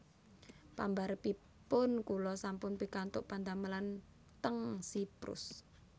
Pambarepipun kula sampun pikantuk padamelan ten Siprus